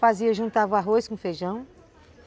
Fazia, juntava arroz com feijão.